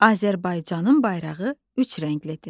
Azərbaycanın bayrağı üç rənglidir.